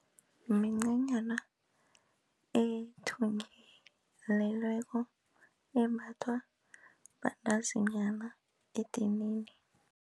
Mincanyana ethungelelelweko embathwa bantazinyana edinini.